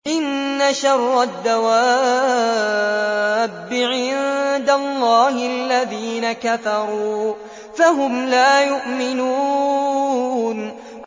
إِنَّ شَرَّ الدَّوَابِّ عِندَ اللَّهِ الَّذِينَ كَفَرُوا فَهُمْ لَا يُؤْمِنُونَ